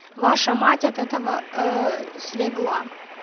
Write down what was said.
ваша мать от этого ээ слегла